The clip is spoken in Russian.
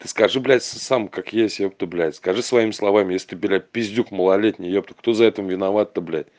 ты скажи блядь сам как есть ёпта блядь скажи своими словами если ты блядь пиздюк малолетний ёпта кто в этом виноват то бля